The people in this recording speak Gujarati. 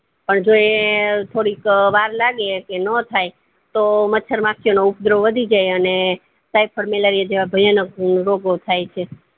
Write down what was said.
અને જો એ થોડીક વાર લાગે કે નો થાય તો માંચ્ચર માખી નો ઉપગ્રહ બૌ વધી જાય અને typhoid malaria જેવા ભયાનક રોગો થાય છે